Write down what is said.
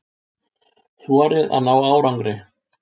Þorið að ná árangri.